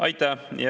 Aitäh!